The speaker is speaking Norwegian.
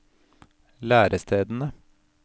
lærestedene